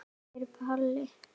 spyr Palli.